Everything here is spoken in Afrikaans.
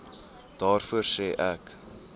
daarvoor sê ek